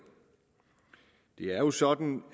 det er jo sådan